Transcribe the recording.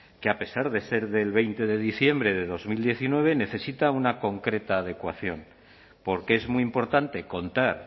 que a pesar de ser del veinte de diciembre de dos mil diecinueve necesita una concreta adecuación porque es muy importante contar